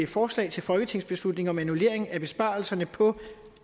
forslag til folketingsbeslutning om annullering af besparelserne på